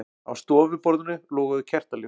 Á stofuborðinu loguðu kertaljós.